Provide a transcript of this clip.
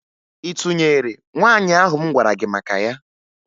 Ị tụnyere nwaanyị ahụ m gwara gị maka ya?